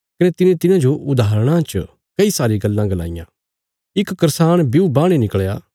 कने तिने तिन्हांजो उदाहरणां च कई सारी गल्लां गलाईयां इक करसाण ब्यू बाहणे निकल़या